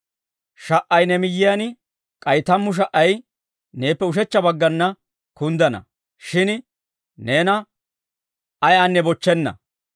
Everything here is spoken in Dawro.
Sha"ay ne miyyiyaan, k'ay tammu sha"ay neeppe ushechcha baggana kunddana; shin neena ayaynne bochchenna.